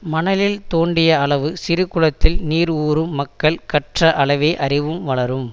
மணலில் தோண்டிய அளவு சிறு குளத்தில் நீர் ஊறும் மக்கள் கற்ற அளவே அறிவும் வளரும்